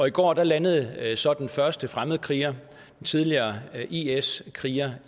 i går landede så den første fremmedkriger en tidligere is kriger